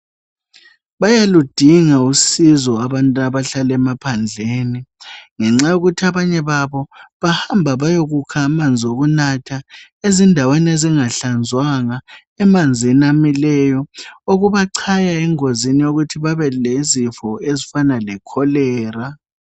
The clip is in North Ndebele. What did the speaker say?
Bayaludinga usizo abantu abahlala emaphandleni, ngenxa yokuthi abanye babo bahamba beyokukha amanzi okunatha ezindaweni ezingahlanzwanga, emanzini amileyo okubachaya engozini yokuthi babe lezifo ezifana le Kholera.